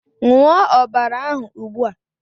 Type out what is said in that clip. Ṅụọ ọbara ahụ ugbua!